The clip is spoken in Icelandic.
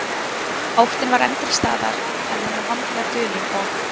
Óttinn var enn til staðar, en hann var vandlega dulinn og